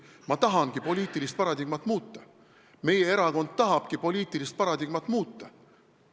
Ma tahangi poliitilist paradigmat muuta, meie erakond tahabki poliitilist paradigmat muuta.